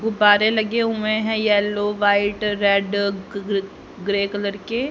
गुब्बारे लगे हुए हैं येलो व्हाइट रेड ग ग्रे कलर के।